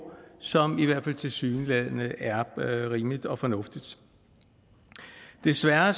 som i hvert fald tilsyneladende er rimeligt og fornuftigt desværre